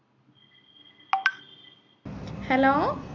hello